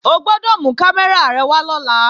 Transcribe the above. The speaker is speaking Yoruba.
O gbọ́dọ̀ mú kámẹ́rà rẹ wá lọ́la!